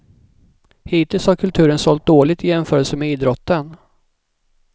Hittills har kulturen sålt dåligt i jämförelse med idrotten.